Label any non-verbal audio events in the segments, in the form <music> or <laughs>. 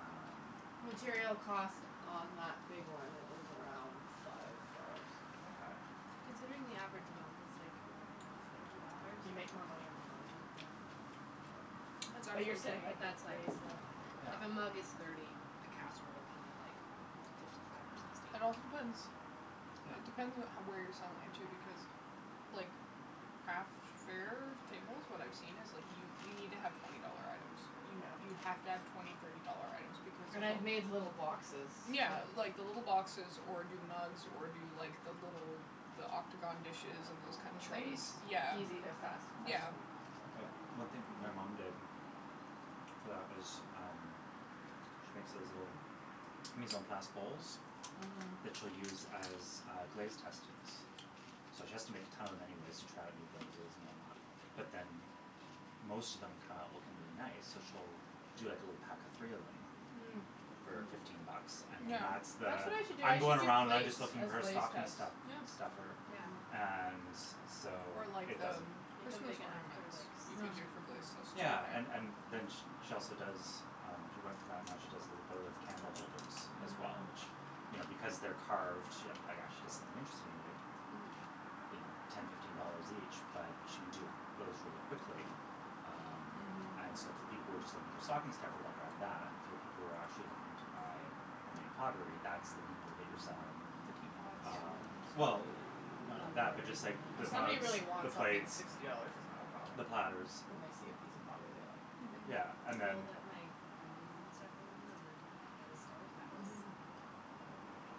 Um Material cost on that big one is around five dollars. Mkay. Considering the average amount is like, thirty dollars. You make more money on a mug, yeah. But <noise> Exactly. but you're saying I But could that's like, raise the Yeah. if a mug is thirty, a casserole can be like fifty five or sixty. It also depends It Yeah. depends what how where you're selling it, too. Because, like, craft fairs, tables, what I've seen is like, you you need to have twenty dollar items. You Yeah. you have to have twenty, thirty dollar items because And I've of <inaudible> made little boxes Yeah that like, the little boxes, or do mugs, or do like, the little the octagon dishes and those kinda things. Trays. Yeah. Easy to, Mm. fast, <noise> fast Yeah. to make, so But one thing my mom did Mhm. for that was, um she makes these little mise en place bowls Mhm. that she'll use as, uh, glaze testings. So she has to make a ton of them anyways to try out new glazes and whatnot. But then m- most of them come out looking really nice, so she'll do like a little pack of three of them <noise> Mm. <noise> for fifteen <noise> bucks, Mm. and then Yeah. <noise> that's That's the what I should do, "I'm I going should do around and I'm plates just looking as for a glaze stocking tests. stu- <noise> Yeah. stuffer" Yeah. Yeah. <noise> and so Or like, it the doesn't m- Make 'em Christmas big enough for ornaments. like, You could do sushi. Yeah. for glaze tests too, Yeah, right? and and then sh- she also does um, she went from that and now she does little votive candle holders as well, Mm. which, you know because they're carved, you know, actually does something interesting, they're like Mhm. <noise> you know, ten, fifteen dollars each but she can do those really quickly. Um And so Mhm. if the people were just looking for stocking stuffer they'll grab that. For the people who are <noise> actually looking to buy homemade pottery, that's the people that you're selling The teapots. um Well, <noise> The none of mug that, <noise> but just hoarders, like like the If me. somebody mugs, really the wants something, the plates sixty dollars is not a problem. the platters. When they see a piece of pottery they like. Mhm. Yeah, and People then that make onions and stuff moving on the by the stove, that was, Mhm. like,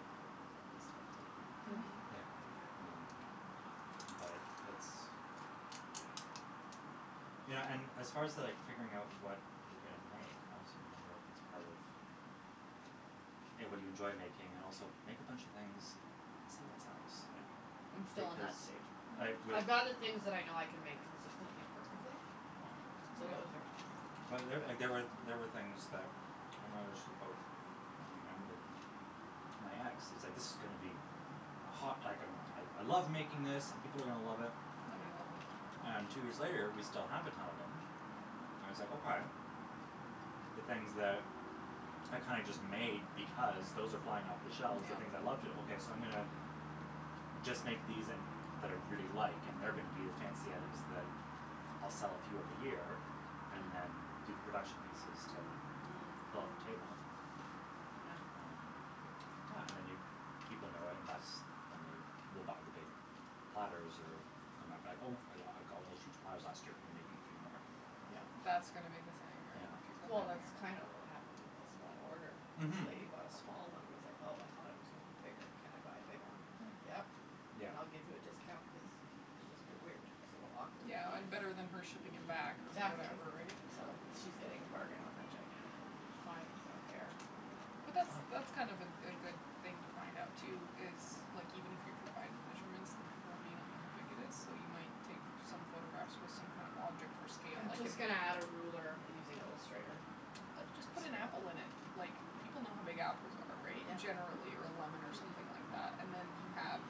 at least fifty. Yeah. <noise> Mhm. Yeah. Something like Um that. But it's You know, and as far to like figuring out what you're gonna make I also wonder if it's part of A, what do you enjoy making and also make a bunch of things and see what sells. Yeah. <noise> Yeah. I'm still on Because that stage. like, Mm. <noise> with I'd rather things that I know I can make <noise> consistently perfectly. Yeah. So those But are, there, like, big there were, there were things that Mm. <inaudible> mom and with my ex, it was like "this is gonna be a hot" like a "I I love making this, and people are gonna love it." Nobody loves it. <noise> And two years later we still have a ton of them. And it's like, okay. The things that are kinda just made because, those are <noise> flying off the shelves the Yeah. things I love to, okay so I'm gonna just make these and, that I really like, and they're Mhm. gonna be the fancy items that I'll sell a few <noise> of a year and then Mhm. do the production pieces to Mm. Mm. fill up table. Yeah. Um Yeah, and then you, people know it and that's when they will buy the big platters, or come back be like, "Oh I got, I got one of those huge platters last year, can you make me three <noise> more?" Yeah. That's gonna be the thing, right? Yeah. People Well hogging that's Mhm. up kinda what happened with this one order. This Mhm. lady bought a small one and was like "Oh, I thought it was gonna be bigger, can I buy a big one?" I was like, Mm. "Yep, Yeah. and I'll give you a discount" cuz y- it was a bit weird. It was a little awkward Yeah, <noise> and <inaudible> better than her shipping it back or Mhm. Exactly. whatever, right? So Yeah. she's getting a bargain on that gigantic one. Fine, I don't care, I don't, But that's that's <noise> fine. Oh. that's kind of a a good thing to find out, too is, like even if you provide the measurements, then people might not know how big it is. Though you might take f- some photographs with some kind of object for scale I'm like an just gonna add a ruler using Illustrator Put, just for put an scale. apple in it! Like, people know how big apples are, right? Generally, or a lemon or something Mhm. like that. Yeah. And then you have,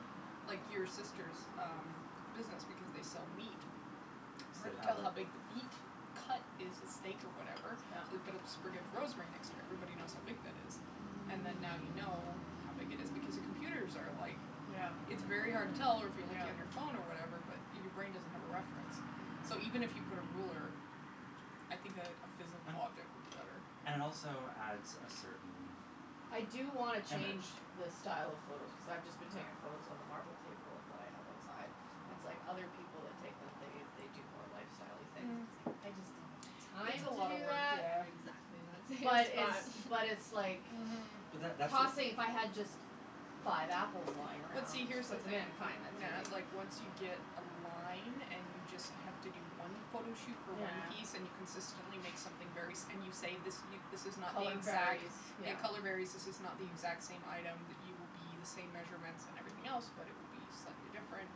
like, your sister's um business, because they sell meat. They'd Hard to have tell like how big the beat cut is a steak or whatever. So Yep. we put a sprig of rosemary next to it, everybody knows how big that is. And then now Mm. you know how big it is, because the computers are like Yeah. It's very hard to tell, or if you're looking at your Yeah. phone or whatever, but <noise> your brain doesn't have a reference, so even if you Mm. put a ruler I think a a physal And object would be better. Yeah. And it also adds a certain I do wanna change image. the style of photos cuz I've just been Yeah. taking photos on the <noise> marble table that I have outside. It's like other people that take them, they they do more lifestyle-y things. Mm. It's like, Mm. I just don't have the It's time a Mm. to lotta do work, that. yeah. Exactly, I'm thinking But like it's that. But it's <laughs> like Mhm. But that that's the Tossing, if I had just five apples lying But around, see, here's just the put them thing, in, N- fine, that's Nat, easy. like once you get a line, and you just have to do one photo shoot for one piece and you Yeah. consistently make something <noise> very s- and you say this y- this is not the Color exact, varies. yeah, Yeah. color varies This is not the Mhm. exact same item that you will be, the same measurements and everything else but it will be slightly different.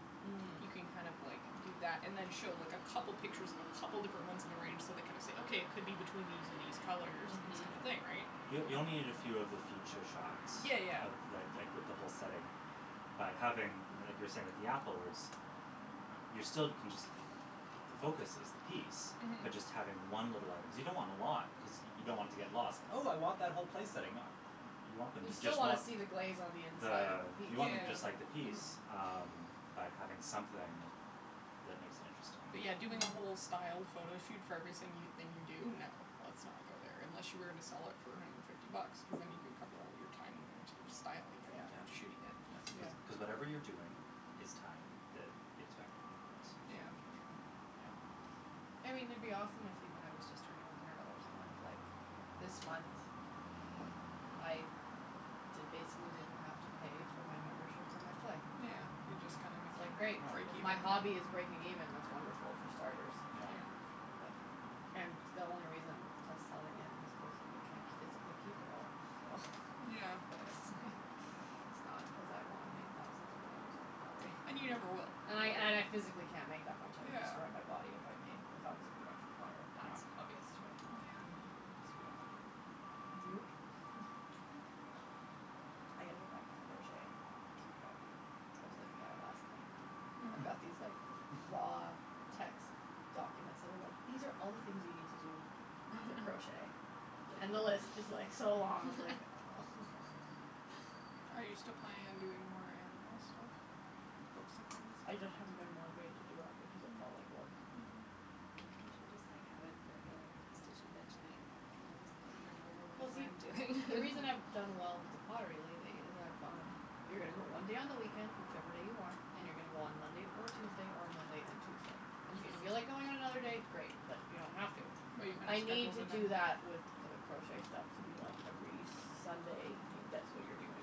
You Mhm. can Yeah. kind of like, do that, and then show like a couple pictures of a couple different <noise> ones in the range, so they kind of say "Okay, it could be between these and these colors and this Mhm. Yeah. kinda thing," right? Y- you only need a Mhm. few of the feature shots Yeah, yeah, of yeah. the, th- like with the whole setting. By having, I mean like you were saying with the apple words y- you're still, can just the focus is the piece. Mhm. But just having one little item, cuz you don't want a lot cuz y- you don't want it to get lost. "Oh I want that whole place setting." Nah, y- you want them You to just still wanna want see the glaze on the inside of the, the piece, you want them just Yeah. too. like the piece. Mhm. Um, but having something that makes it interesting. But yeah, doing a whole styled photo shoot for every sing- thing you do? No. Let's not go there, unless you were gonna sell it for a hundred and fifty bucks. Cuz then you could cover all of your time and energy of styling it Yeah. and Yeah. shooting it. That's cuz Yeah. cuz whatever you're doing is time that gets factored in the price. Yeah. Yeah, for sure. Yeah. I mean it'd be awesome if even I was just earning a hundred dollars a month, like This month I d- basically didn't have to pay for my membership for my clay. Yeah, you just kinda It's like, making, great, <noise> break Oh. if even. my hobby is breaking Yeah. even, that's wonderful, for starters. Yeah. And the only reason <noise> to selling it is cause you c- physically keep it all. So <laughs> Yeah. it's like, it's not cuz I wanna make thousands of dollars off pottery. And you never will. And I, and I physically can't make that much, I would destroy Yeah. my body if I made, if I was a production potter. That's Yeah. obvious to me. Yeah. Mm. So Nope. <laughs> <laughs> But, I gotta get back to crochet, that's what I gotta do. I was looking at it last night, I've <laughs> got Mhm. these like, <laughs> raw text documents that are like, "these are all the things you need to do for <laughs> crochet." And the list is like, so long, I'm like, <laughs> oh. <laughs> Are you still planning on doing more animal stuff? Like, books and things? <noise> I just haven't been motivated to do it because it felt Mm. like work. Mhm. You should just <noise> like have a regular stitch and bitch night. And I'll just bring over <noise> Well whatever see, I'm doing. the reason I've <laughs> done well with the pottery lately is I've gone <noise> You're gonna go one day on the weekend, whichever day you want. And you're gonna go on Monday or Tuesday, or Monday and Tuesday. And if you feel like Mhm. going on another day, great, but you don't have to. <noise> But you kinda Mhm. I need scheduled to it do in. that with the crochet stuff to be like, Oh. every Sunday. You, that's what you're doing.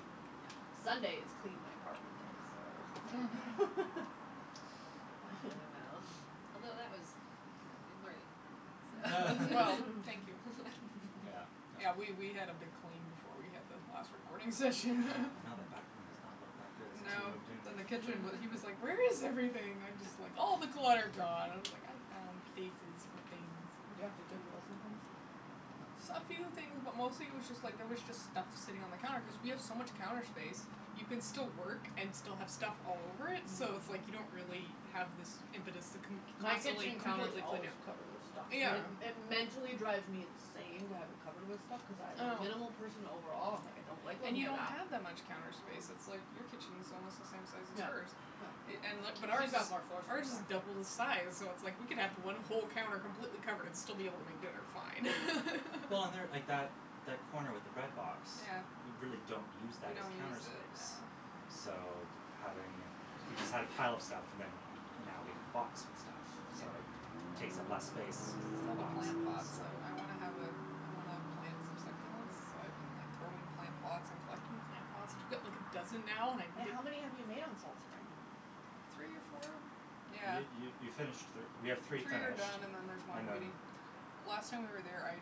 Sunday is clean my apartment day, so <laughs> <laughs> <laughs> <noise> That went really <laughs> well, <laughs> although that was <noise> Saturday morning for me, so <laughs> Well, <laughs> <laughs> thank you. <noise> <laughs> Yeah, <laughs> Yeah, that was we we had a big clean before we had the last <noise> recording session. <laughs> Yeah, I know that back <laughs> room <laughs> has not looked that good since we No. moved in. Then the <noise> kitchen w- he <laughs> was like, "Where is everything?" I'm just like, "All the clutter gone" and I was like, "I found places for <noise> things." Did you have to Goodwill some things? No. S- a few things, but mostly it was just like, there was just stuff sitting on the counter cuz we have so much counter space. You can still work and still have stuff all over <noise> it, so it's like Mm. you don't really have <noise> this impetus to con- My constantly kitchen counter's completely clean always it. covered with stuff. And Yeah. Yeah. it it mentally drives me insane to have it covered with stuff. Cuz I I am a know. minimal person overall, I'm like, I don't like <noise> And looking you at don't that. have that much counter space, it's like your kitchen's almost the same size <noise> as Yeah. hers No. i- and li- but ours Who's is got more floor space ours is actually. double the size, so it's like we could have one whole counter completely covered and still be able to make dinner fine. <noise> Well and <laughs> there, like that that corner with the bread box Yeah. we really don't use We that as don't counter use it, yeah. space. So, d- having, we just had a pile of stuff and then now we have the box with stuff. Yeah. So it takes up less space cuz <noise> it's It's in all a the box, plant but it's that's um, still I wanna have a I wanna plant some succulents, so I've been like, throwing plant pots and collecting plant pots. I got like a dozen now and I Wait, <inaudible> how many have you made on Salt Spring? Three or four? Yeah. You you you finished thir- we have Three three are finished done and then there's one and then, waiting. Last time we were yeah. there, I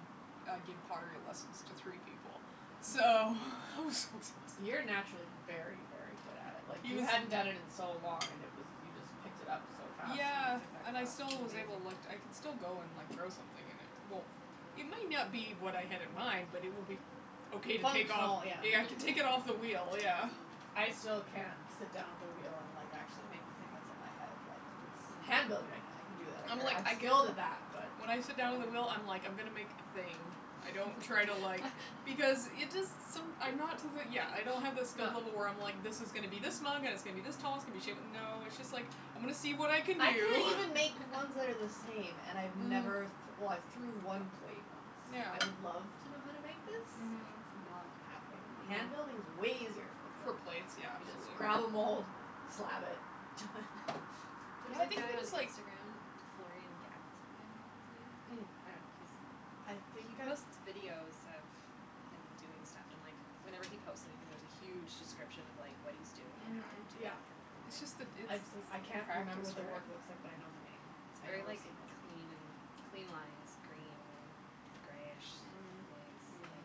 I gave pottery lessons to three people, so it was so You're exhausting. naturally very, very good at it. Like, He you was hadn't done it in so long and it was you just picked it up so fast when Yeah, you took that and I class. It still was was able, like, amazing. I can still go and, like, throw something and it won't It may not be what I had in mind, but it will be okay to take off. Functional, yeah. Yeah, I can take it off the wheel, <laughs> yeah. I still can't sit down at the wheel and, like, actually make the thing that's in my head, like, it's Handling, I I can do that, I'm I'm ver- like, I'm I skilled guilded at that, that. but When I sit down at the wheel, I'm like, I'm gonna make a thing. I don't try to, like <laughs> Because it just, som- I'm not to the, yeah, I don't have the skill level where <noise> I'm like this is gonna be this mug and it's gonna be this tall, it's going to be shape no, it's just like I'm gonna see what I can I can't do. even make ones that are the <laughs> same, and I've never th- Mhm. well, I've threw Mhm. one plate once. I would love Yeah. to know how to make this. Mhm. It's not happening. I know. Hand building is way easier for a For plate. plates, yeah, You just absolutely. grab a mould, slab it, done. Yeah, There's I a think it guy it on was like Instagram, Floren Gatzby, I think is his Mm. name. I Mm. don't know, he's I he think I've posts videos of him doing stuff and, like, whenever he posts anything, there's a huge description of, like, what he's doing and how he's Mhm. doing Yeah. it and It's just the everything. it's I've s- practice, I can't remember what the work looks like, but I right? know the name. It's I know very, I've like, seen it. clean and clean lines, green greyish Mhm. glaze, like,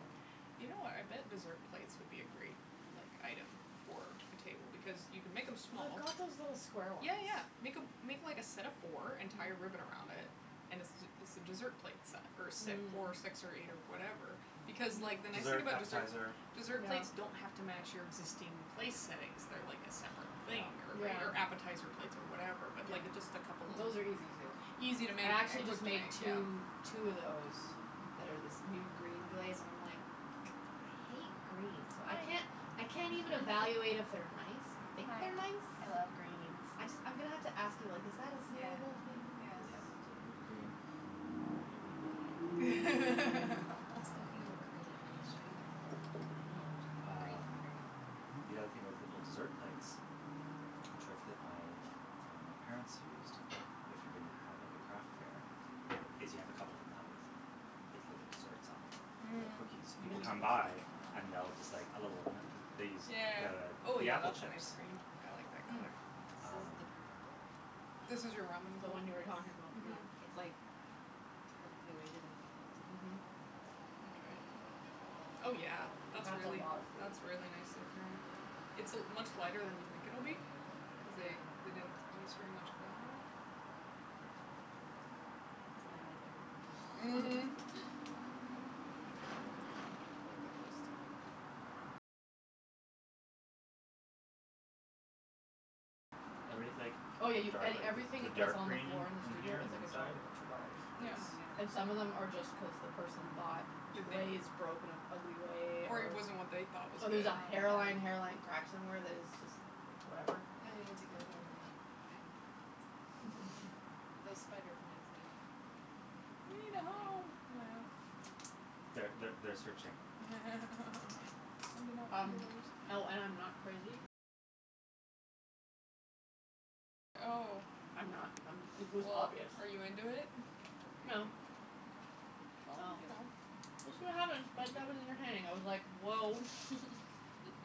You know what, I bet yeah. dessert plates would be a great, like, item for a table because you can make them small. I've got those little square ones. Yeah, yeah, make a make like a set of four and tie a ribbon around it and it's it's a dessert plate set or si- Mm. four, six or eight or whatever because, like, the Mm, nice thing dessert, Mhm. about deser- appetizer. dessert plates don't Yeah. have to match your existing place settings. They're like a separate Yeah. thing or right Yeah. or appetizer plates or whatever but, Yeah. like, just a couple of l- Those are easy, too. Easy to make I actually and quick just to make made two two of those that are this new green glaze and I'm, like, I hate green, so I can't I I can't even evaluate if they're nice. <laughs> I think they're nice. <laughs> I just I'm gonna have to ask you, like is that a salable thing cuz Yeah, type gr- green, we we like it. Speaking of Um. <laughs> green, I'll show you the bowl, Mm. while we're talking about green Um, pottery. the other thing was little dessert plates. A trick that my, uh, my parents used, if you're gonna have like a craft fair, is you have a couple of them out with little desserts on them or Mhm. cookies. People come by and they'll just like a little b- they use the Yeah. Oh, the yeah, apple that's a chips. nice green. I like that Mm. color. This is Um the perfect bowl. This is your ramen The bowl? one you were talking about, yeah. Mhm. Yes. It's, like, perfectly weighted in my Mhm. hand. Let me try it. Oh, yeah, that's That's a really lotta food. that's really nicely thrown. It's a much lighter than you think it'll be cuz Yeah. they they didn't use very much clay on it. It's my, like, everything Mhm. bowl. <laughs> That's a good one. I like that glaze, too. Everything's like Oh, yeah, y- dark, a- like everything the that's dark on the green floor in the in in studio here is on the like a inside dollar or two dollars. Yeah. Oh, is And some of them my god. are just cuz the person thought the glaze broke in an ugly way Or it or wasn't what they thought was or good. there's a Oh, hairline my hairline crack god. somewhere that is just, like, whatever. I need to Mhm. go there now. I need plant pots. Mhm. <laughs> Those spider plants need They need a a home, thing. yeah. Th- th- they're searching. <laughs> Sending out Um, feelers. oh, and I'm not crazy. I'm not I'm it was Well, obvious. are you into it? No. Well, Well, you know, we'll it's see like what happens, but that was entertaining. I was like, woah.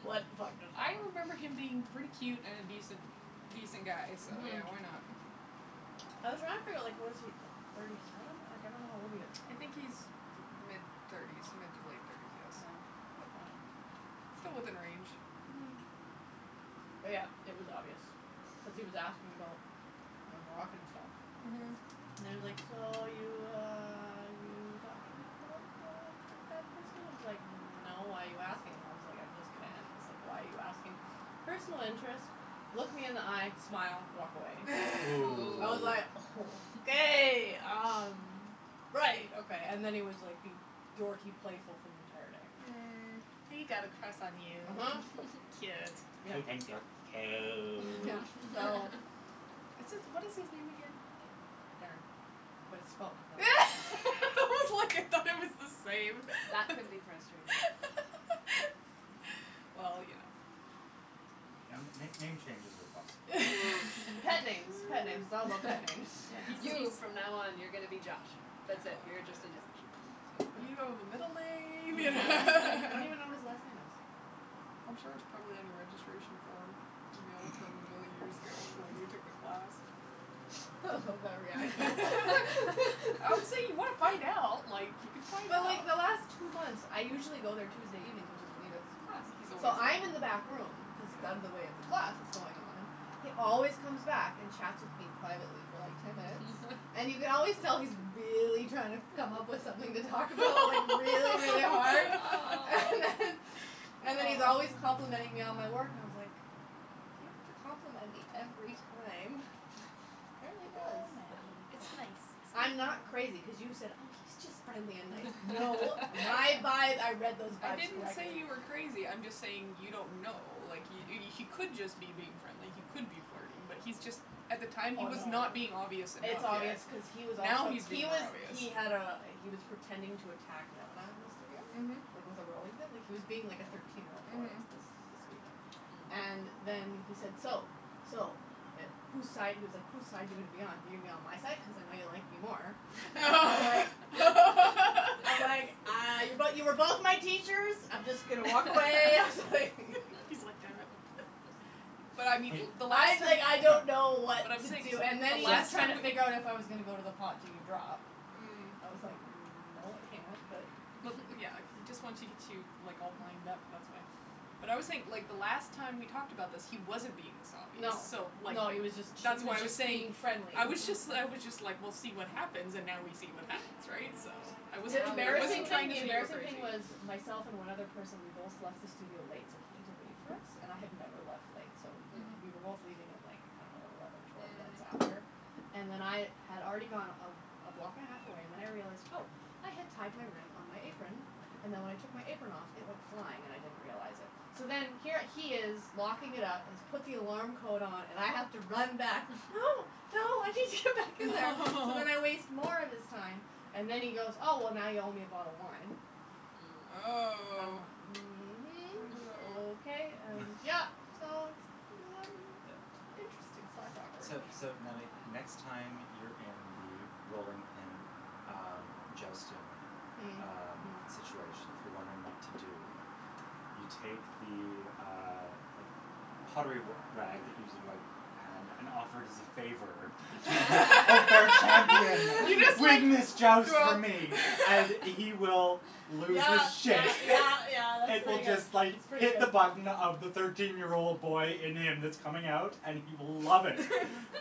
What the fuck just I happened. remember him being pretty cute and an a decent, a decent guy so, Mhm. yeah, why not? I was trying to figure out, like, what is he, thirty seven? Like, I don't know how old he is. I think he's mid thirties, mid to late thirties, yes, Yeah, that's but fine. still within range. Mhm. But, yeah, it was obvious cuz he was asking about my Moroccan stuff. Mhm. And he was like, so, you, uh, you talking about, uh, that person? I was like, no, why are you asking? I was like, I'm just gonna end this. Like, why are you asking? Personal interest, look me in the eye, smile, walk away. Ooh. I was like, <laughs> Ooh. okay, um, <laughs> right, okay. And then he was being like dorky playful for the entire day. Mm. He got a crush on you. uh-huh. Cute. <laughs> Yeah. He thinks you're Yeah, cute. so It's it's what is his name <laughs> again? Darren, but it's spelled differently. <laughs> I was like, I thought it was the same. That <laughs> could be frustrating. Well, you know. N- n- Yeah. name changes are possible. Pet names, pet names, all about <laughs> pet <laughs> names. Yeah, he seems You, from now on, you're gonna be Josh. That's it, you're just a Josh. <noise> You don't have a middle name Yeah. I don't even know what his <laughs> last name is. <laughs> I'm sure it's probably on your registration form email from a million years <laughs> ago from when we took the class. I love that reaction. <laughs> Obviously if you <laughs> want to find out, <laughs> like, you could find But, out. like, the last two months, I usually go there Tuesday evenings, which is when he does his class, He's always so there. I'm in the back room cuz it's out of the way of the Yeah. class that's going on, he always comes back and chats with me privately for like ten minutes, and you can always tell he's really trying to come up with something to talk about, like, really, really hard. <laughs> And then <laughs> and then he's always Oh. complimenting me on my Oh. work and I was like, you don't have to compliment me every time. <laughs> Oh, Apparently he does. Oh, Nattie, it's Nattie, it's nice. nice. I'm not crazy, cuz you said, oh, he's just friendly and nice. No, my <laughs> vibe, I read those I vibes didn't say correctly. you were crazy, I'm just saying you don't know. Like, he he could just be being friendly, he could be flirting, but he's just, at the time he Oh, was no. not being obvious enough It's yet. obvious cuz he was Now also he's He being more was obvious. he had a he was pretending to attack Nemana in the studio, Mhm. like, with a rolling pin. Like, he was being like a thirteen year old boy Mhm. this this week. And then he said, "So, so, who's side," he was like, who's side you gonna be on? You going to be on my side, cuz I know you like me more. I was like I was like, <laughs> uh, <laughs> but you were both my teachers. I'm just going to walk away. I was like <laughs> <laughs> He's like, damn it. But I mean He- the <inaudible> last time that okay, I don't know so what But I'm to saying do. so And then the he was last trying time to just figure out if I was gonna go to the pot to do drop. Mm. I was like, no, I No, can't, but but, yeah, he just <laughs> wants to get you, like, all wind up, that's why. But I always think the last time we talked about this, he wasn't being this obvious No, so, like, no, he was just that's he why was I was just saying, being friendly. I was just I was just like, we'll see what <laughs> happens, and now we see what happens, right, so I wasn't The Now embarrassing trying thing to the we know. say you were embarrassing thing crazy. was myself and one other person, we both left the studio late, so he had to wait for us. And I have never left late, so we were both Mhm. Mhm. leaving at, like, I don't know, eleven, twelve minutes after Mhm. and then I had already gone a a block and a half away and then I realized, oh, I had tied my ring on my apron and then when I took my apron off, it went flying and I didn't realize it. So then here he is locking it up and he's put the alarm code on and I have to run back. No, no, <laughs> I need to get back in there! So then I waste <laughs> more of his time and then he goes, oh, well, now you owe me a bottle of wine. Mm. I'm Oh. like, I mhm, don't okay, <laughs> know. and yeah, so it's <laughs> Yeah. <noise> interesting slash awkward. So so, Natalie, next Yeah. time you're in the rolling pin, um, jousting, Mm. um, Mhm. situation, if you're wondering what to do, you take the, uh, like, pottery r- rag that you use to wipe your hand and offer it as a favor to the unfair <laughs> You champion. just Leave like him his <laughs> joust for <laughs> me and he <laughs> will lose Yeah, his yeah, shit. yeah, yeah, that's It will pretty good. just, <laughs> That's like, pretty hit the good. button of the thirteen year old boy in him that's coming out and he will love it.